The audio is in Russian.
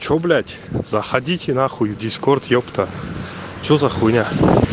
что блять заходите на х дискорд епта что за х